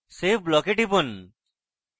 save block এ টিপুন